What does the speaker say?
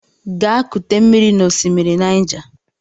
Gaa kute mmiri n'osimiri Niger!